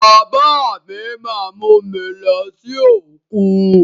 Bàbá mí má mú mi lọ sí òkun.